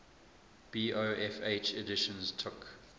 bofh editions took